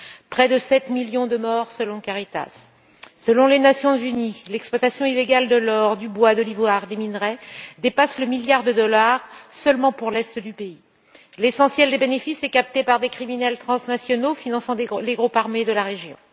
près de 7 millions de morts selon Caritas. Selon les Nations unies, l'exploitation illégale de l'or, du bois, de l'ivoire, des minerais dépasse le milliard de dollars seulement pour l'Est du pays. L'essentiel des bénéfices est capté par des criminels transnationaux finançant les groupes armés de la région.